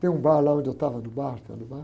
Tem um bar lá onde eu estava, no bar,